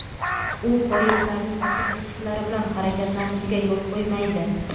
u poyezdlarning ochiq eshiklari bilan harakatlanishiga yo‘l qo‘ymaydi.